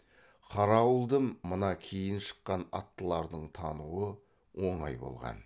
қаралы ауылды мына кейін шыққан аттылардың тануы оңай болған